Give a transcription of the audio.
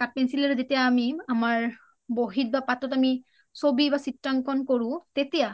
কাঠ pencil ৰে যেতিয়া আমি আমাৰ বহিত বা পত’ত আমি চবি বা চিএংখন কৰো তেতিয়া